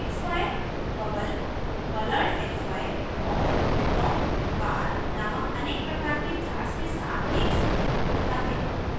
xy bubble coloredxy और dropbar नामक अनेक प्रकार के चार्ट्स के साथ एक सबमेन्यू खुलता है